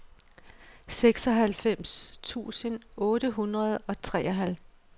seksoghalvfems tusind otte hundrede og treoghalvtreds